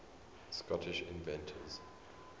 scottish inventors